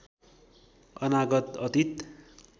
अनागत अतीत